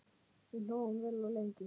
Við hlógum vel og lengi.